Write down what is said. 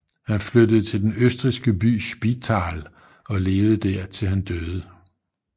Han flyttede til den østrigske by Spital og levede der til han døde